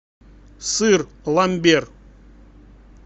сыр ламбер